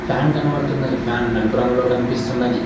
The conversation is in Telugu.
ఫ్యాన్ కనపడుతున్నది ఫ్యాన్ నలుపు రంగులో కనిపిస్తున్నది.